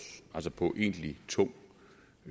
altså på egentlig tung